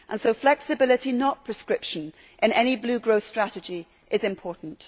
Therefore flexibility not prescription in any blue growth strategy is important.